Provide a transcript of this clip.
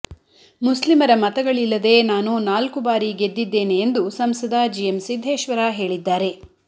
ಮುಸ್ಲಿಮರ ಮತಗಳಿಲ್ಲದೇ ನಾನು ನಾಲ್ಕು ಬಾರಿ ಗೆದ್ದಿದ್ದೇನೆ ಎಂದು ಸಂಸದ ಜಿಎಂ ಸಿದ್ದೇಶ್ವರ ಹೇಳಿದ್ದಾರೆ